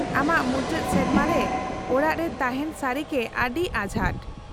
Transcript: -ᱟᱢᱟᱜ ᱢᱩᱪᱟᱹᱫ ᱥᱮᱨᱢᱟ ᱨᱮ ᱚᱲᱟᱜ ᱨᱮ ᱛᱟᱦᱮᱱ ᱥᱟᱹᱨᱤᱜᱮ ᱟᱹᱰᱤ ᱟᱸᱡᱷᱟᱴ ᱾